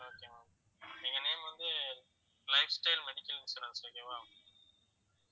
okay ma'am எங்க name வந்து lifestyle health insurance okay வா